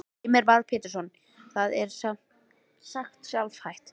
Heimir Már Pétursson: Það er sem sagt sjálfhætt?